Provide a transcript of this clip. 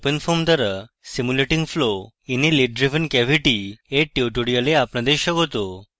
openfoam দ্বারা simulating flow in a lid driven cavity এর tutorial আপনাদের স্বাগত